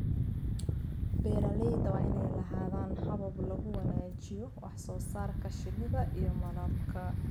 Beeralayda waa inay lahaadaan habab lagu wanaajiyo wax soo saarka shinnida iyo malabka.